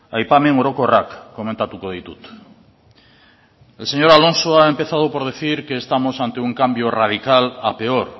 aipamen orokorrak komentatuko ditut el señor alonso ha empezado por decir que estamos ante un cambio radical a peor